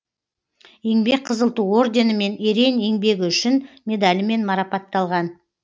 еңбек қызыл ту орденімен ерен еңбегі үшін медалімен марапатталған